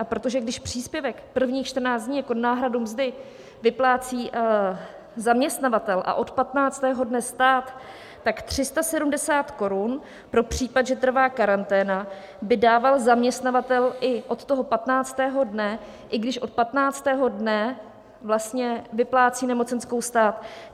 A protože když příspěvek prvních 14 dní jako náhradu mzdy vyplácí zaměstnavatel a od 15. dne stát, tak 370 korun pro případ, že trvá karanténa, by dával zaměstnavatel i od toho 15. dne, i když od 15. dne vlastně vyplácí nemocenskou stát.